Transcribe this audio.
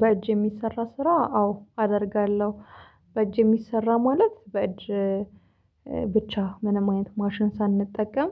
በእጅ የሚሰራ ስራ አዎ አደርጋለሁ በእጅ የሚሰራ ማለት በእጅ ብቻ ምንም አይነት ማሽን ሳንጠቀም